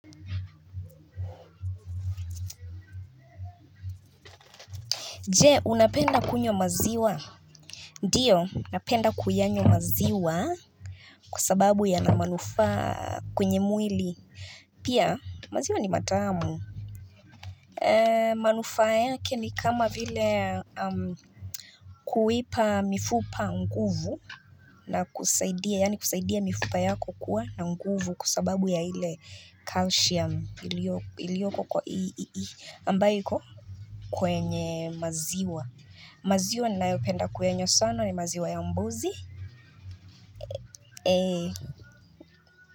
Jee, unapenda kunywa maziwa? Ndiyo, napenda kuyanywa maziwa Kwa sababu ya na manufaa kwenye mwili Pia, maziwa ni matamu manufaa yake ni kama vile Kuipa mifupa nguvu na kusaidia, yani kusaidia mifupa yako kuwa na nguvu Kwa sababu ya ile calcium ilioko kwa ii ambayo iko? Kwenye maziwa maziwa ni nayopenda kuyanywa sana ni maziwa ya mbuzi.